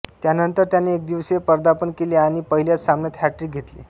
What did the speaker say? त्यानंतर त्याने एकदिवसीय पदार्पण केले आणि पहिल्याच सामन्यात हॅटट्रिक घेतली